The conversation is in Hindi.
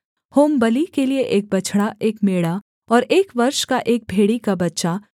होमबलि के लिये एक बछड़ा एक मेढ़ा और एक वर्ष का एक भेड़ी का बच्चा